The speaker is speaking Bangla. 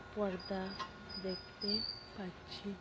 পর্দা দেখতে পাচ্ছি ।